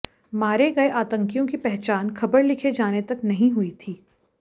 मारे गए आतंकियों की पहचान खबर लिखे जाने तक नही हुई थी